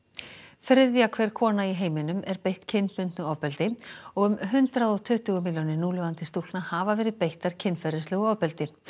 þriðja hver kona í heiminum er beitt kynbundnu ofbeldi og um hundrað og tuttugu milljónir núlifandi stúlkna hafa verið beittar kynferðislegu ofbeldi